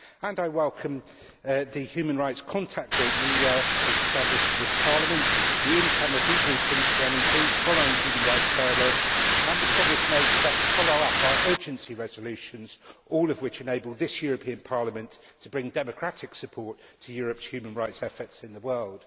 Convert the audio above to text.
I welcome the human rights contact group the EEAS has established with this Parliament, the in camera debriefings to MEPs following human rights dialogues, and the promise made to improve the follow up to our urgency resolutions, all of which enable the European Parliament to bring democratic support to Europe's human rights efforts in the world.